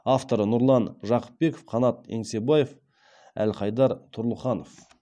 авторлары нұрлан жақыпбеков қанат еңсебаев әлхайдар тұрлыханов